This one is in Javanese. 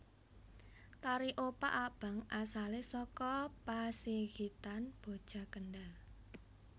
Tari Opak Abang asalé saka Pasigitan Boja Kendhal